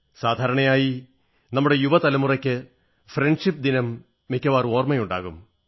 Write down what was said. സാധാരണയായി നമ്മുടെ യുവ തലമുറയ്ക്ക് ഫ്രണ്ട്ഷിപ് ദിനം മിക്കവാറും ഓർമ്മയുണ്ടാകും